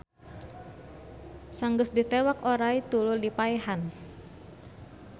Saeunggeus ditewak oray tuluy dipaehan